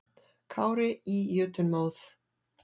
Kári í jötunmóð.